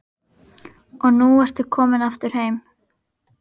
Og nú ertu komin aftur heim?